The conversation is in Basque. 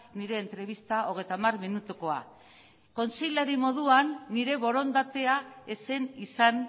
nire entrebista hogeita hamar minutukoa kontseilari moduan nire borondatea ez zen izan